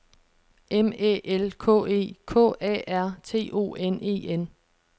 M Æ L K E K A R T O N E N